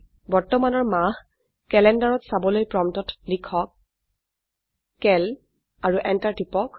বৰ্তমানৰ মাহ ক্যালেন্ডাৰত চাবলৈ প্ৰম্পটত লিখক চিএএল আৰু এন্টাৰ টিপক